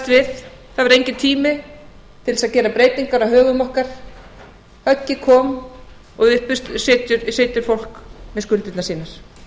við það var enginn tími til þess að gera breytingar á högum okkar höggið kom og fólkið situr uppi með skuldirnar